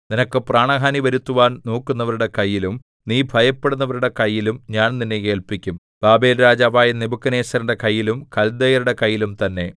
നിനക്ക് പ്രാണഹാനി വരുത്തുവാൻ നോക്കുന്നവരുടെ കൈയിലും നീ ഭയപ്പെടുന്നവരുടെ കൈയിലും ഞാൻ നിന്നെ ഏല്പിക്കും ബാബേൽരാജാവായ നെബൂഖദ്നേസരിന്റെ കൈയിലും കൽദയരുടെ കൈയിലും തന്നെ